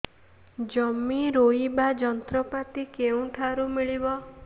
ଜମି ରୋଇବା ଯନ୍ତ୍ରପାତି କେଉଁଠାରୁ ମିଳିବ